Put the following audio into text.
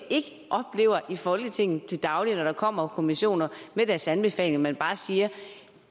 oplever i folketinget til daglig når der kommer kommissioner med deres anbefalinger at man siger